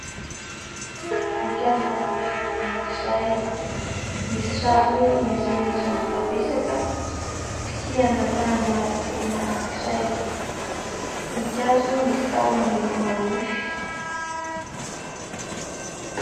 Voninkazo maniry anankiray, misy raviny maitsomaitso mitapesaka, kitihana tanana olona anankiray. Voninkazo misy tahony manify.